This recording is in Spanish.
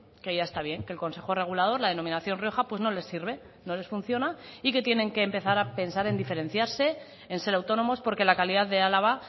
que ya está bien que el consejo regulador la denominación rioja pues no les sirve no les funciona y que tienen que empezar a pensar en diferenciarse en ser autónomos porque la calidad de álava